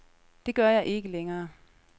Det gør jeg ikke længere.